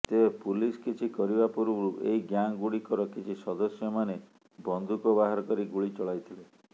ତେବେ ପୁଲିସ୍ କିଛି କରିବା ପୂର୍ବରୁ ଏହି ଗ୍ୟାଙ୍ଗଗୁଡ଼ିକର କିଛି ସଦସ୍ୟମାନେ ବନ୍ଧୁକ ବାହାର କରି ଗୁଳି ଚଳାଇଥିଲେ